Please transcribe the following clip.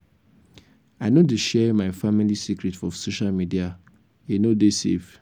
i no dey share my family secret for social media e no dey safe.